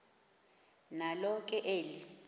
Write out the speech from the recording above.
nalo ke eli